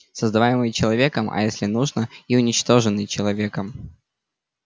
создаваемый человеком а если нужно и уничтоженный человеком